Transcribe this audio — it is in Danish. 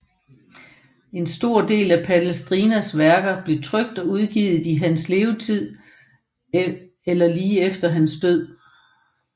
En stor del af Palestrinas værker blev trykt og udgivet i hans levetid eller lige efter hans død